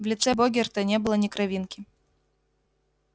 в лице богерта не было ни кровинки